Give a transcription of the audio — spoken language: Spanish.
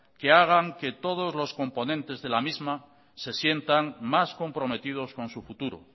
que hagan que todos los componentes de la misma se sientan más comprometidos con su futuro